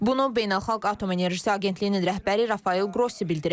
Bunu Beynəlxalq Atom Enerjisi Agentliyinin rəhbəri Rafael Qrossi bildirib.